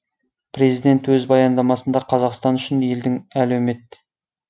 президент өз баяндамасында қазақстан үшін елдің әлеумет